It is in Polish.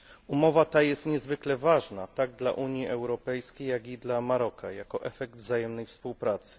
Umowa ta jest niezwykle ważna, tak dla Unii Europejskiej, jak i dla Maroka, jako efekt wzajemnej współpracy.